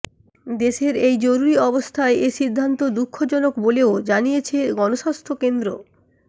দেশের এই জরুরি অবস্থায় এ সিদ্ধান্ত দুঃখজনক বলেও জানিয়েছে গণস্বাস্থ্য কেন্দ্র